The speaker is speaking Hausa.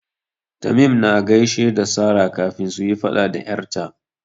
Tamim yana gaishe da Sara kafin suyi faɗa da 'yar ta.